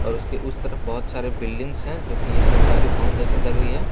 और उसके उस तरफ बहुत सारे बिल्डिंग्स है जो कि ये सरकारी भवन जैसी लग रही है।